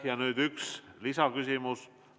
Ja nüüd üks lisaküsimus.